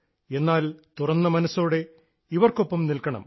എന്നാൽ തുറന്ന മനസ്സോടെ ഇവർക്കൊപ്പം നിൽക്കണം